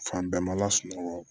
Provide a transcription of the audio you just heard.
Fan bɛɛ ma lasunɔgɔ